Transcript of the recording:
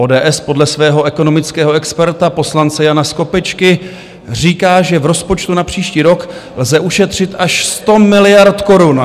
ODS podle svého ekonomického experta poslance Jana Skopečka říká, že v rozpočtu na příští rok lze ušetřit až 100 miliard korun.